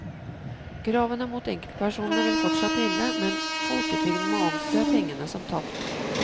Kravene mot enkeltpersonene vil fortsatt gjelde, men folketrygden må anse pengene som tapt.